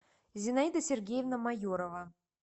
зинаида сергеевна майорова